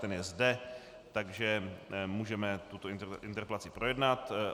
Ten je zde, takže můžeme tuto interpelaci projednat.